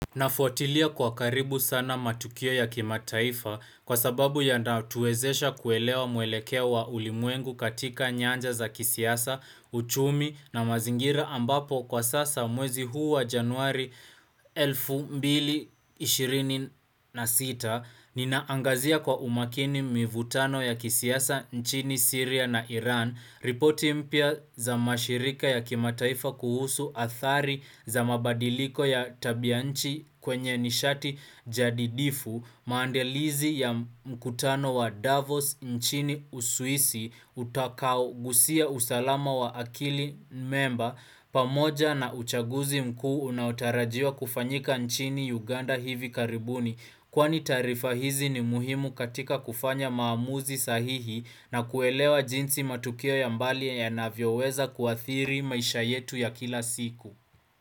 Nafuatilia kwa karibu sana matukio ya kimataifa kwasababu yanatuwezesha kuelewa mwelekeo wa ulimwengu katika nyanja za kisiasa, uchumi na mazingira ambapo kwa sasa mwezi huu wa januari 2026 ninaangazia kwa umakini mivutano ya kisiasa nchini Syria na Iran ripoti mpya za mashirika ya kimataifa kuhusu athari za mabadiliko ya tabianchi kwenye nishati jadidifu maandalizi ya mkutano wa Davos nchini Uswisi utakaogusia usalama wa akili memba pamoja na uchaguzi mkuu unaotarajiwa kufanyika nchini Uganda hivi karibuni Kwani taarifa hizi ni muhimu katika kufanya maamuzi sahihi nakuelewa jinsi matukio ya mbali yanavyoweza kuathiri maisha yetu ya kila siku.